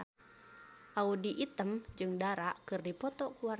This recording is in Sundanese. Audy Item jeung Dara keur dipoto ku wartawan